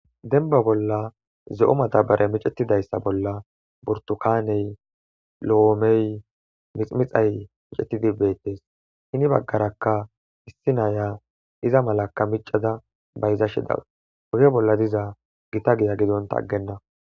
denba bolla ze7o madabare micetidayssa bolla burtukaney lo7oomey miximixay micetidi beettes hini baggarakka issi naya iza malaka micada bayza shidaw woge bolla diza gita giya gidonta aggenna